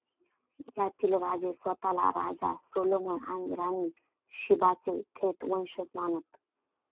यातील राजे स्वतःला राजा सोलोमन आणि राणी शीबाचे थेट वंशज मानत.